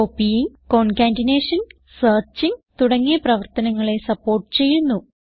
copying concatenation searching തുടങ്ങിയ പ്രവർത്തനങ്ങളെ support ചെയ്യുന്നു